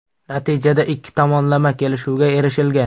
Natijada ikki tomonlama kelishuvga erishilgan.